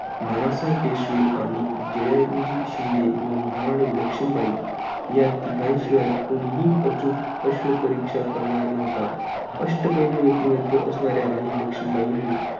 नानासाहेब पेशवे आणि जयाजी शिंदे व महाराणी लक्ष्मीबाई या तिघांशिवाय कोणीही अचूक अश्वपरीक्षा करणार नव्हता अष्टपैलु व्यक्तिमत्त्व असणाऱ्या राणी लक्ष्मीबाईंनी